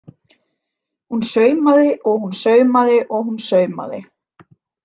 Hún saumaði og hún saumaði og hún saumaði.